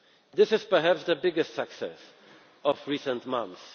and tolerance. This is perhaps the biggest success